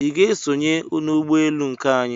I ga-esonye n'ụgbọelu nke anyị?